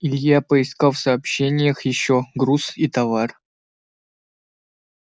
илья поискал в сообщениях ещё груз и товар